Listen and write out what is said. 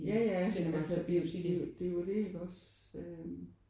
Ja ja det er jo det iggås øh